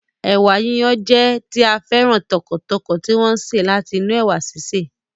Ẹ̀wà yíyon jẹ́ tí a féràn tọkàntọkàn tí wọ́n sè láti inú ẹ̀wà síse